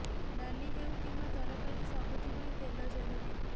ଡାଲି ହେଉ କିମ୍ୱା ତରକାରି ସବୁଥି ପାଇଁ ତେଲ ଜରୁରୀ